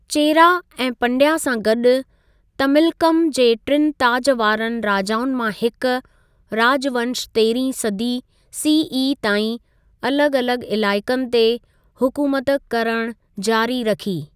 चेरा ऐं पंड्या सां गॾि तमिलकम जे टिनि ताज वारनि राजाउनि मां हिक, राजवंश तेरहीं सदी सीई ताईं अलॻ अलॻ इलाइक़नि ते हुकूमत करण जारी रखी।